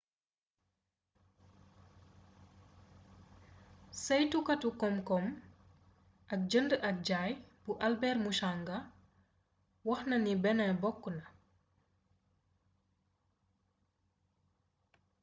saytukatu komkom ak njënd ak njay bu au albert muchanga waxnani benin bokk na